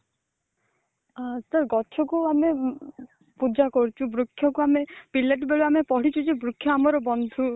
ଅ ଗଛ କୁ ଆମେ ପୂଜା କରୁଛୁ ବୃକ୍ଷ କୁ ଆମେ ପିଲାଟି ବେଳୁ ଆମେ ପଢିଛୁ ଯେ ବୃକ୍ଷ ଆମର ବନ୍ଧୁ